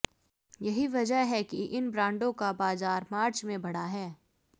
यही वजह है कि इन ब्रांडों का बाजार मार्च में बढ़ा है